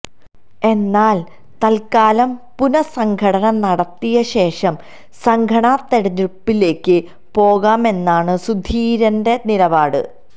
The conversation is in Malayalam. എന്നാല് തത്കാലം പുനഃസംഘടന നടത്തിയശേഷം സംഘടനാ തിരഞ്ഞെടുപ്പിലേക്ക് പോകാമെന്നാണ് സുധീരന്റെ നിലപാട്